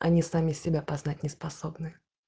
они сами себя познать не способны